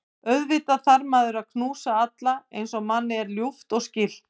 Auðvitað þarf maður að knúsa alla eins og manni er ljúft og skylt.